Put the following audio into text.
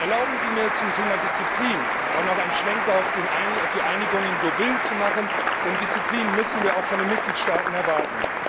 Erlauben Sie mir, zum Thema Disziplin auch noch einen Schwenk auf die Einigung in Deauville zu machen, denn Disziplin müssen wir auch von den Mitgliedstaaten erwarten.